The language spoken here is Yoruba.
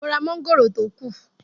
Mo ra mọ́ngòrò tó kù.